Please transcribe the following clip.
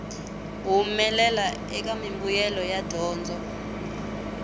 humelela eka mimbuyelo ya dyondzo